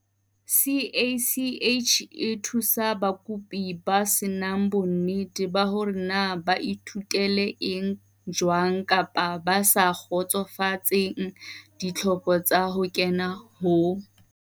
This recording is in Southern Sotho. CACH e thusa bakopi ba se nang bonnete ba hore na ba ithutele eng jwang kapa ba sa kgotsofatseng ditlhoko tsa ho kena ho